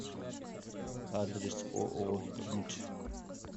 адрес ооо имидж